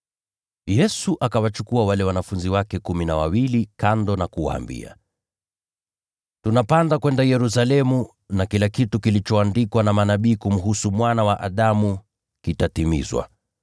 Yesu akawachukua wale wanafunzi wake kumi na wawili kando na kuwaambia, “Tunapanda kwenda Yerusalemu, na kila kitu kilichoandikwa na manabii kumhusu Mwana wa Adamu kitatimizwa.